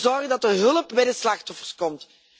We moeten zorgen dat er hulp bij de slachtoffers komt.